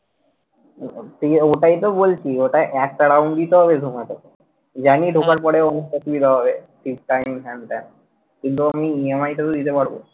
ওটাই তো বলছি ওটা একটা round দিতে হবে তোমাকে। জানি ঢোকার পরে অনেক অসুবিধা হবে হ্যান ত্যান কিন্তু আমি EMI টা তো দিতে পারবো।